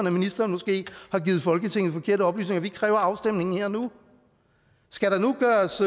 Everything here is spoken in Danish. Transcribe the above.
at ministeren måske har givet folketinget forkerte oplysninger vi kræver afstemningen her og nu skal der nu gøres